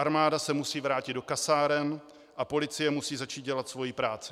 Armáda se musí vrátit do kasáren a policie musí začít dělat svoji práci.